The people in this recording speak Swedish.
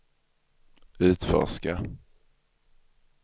utforska